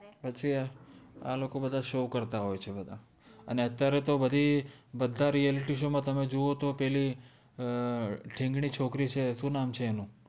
પછિ આ લોકો બધ્હા શો કર્તા હોએ છે બદા અને અત્ય઼આરે તો બધિ બધા realityshow તમે જોવો તો પેલિ અમ થિન્ગનિ છોકરી છે સુ નામ છે એનુ